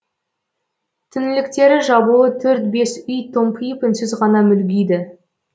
түңліктері жабулы төрт бес үй томпиып үнсіз ғана мүлгиді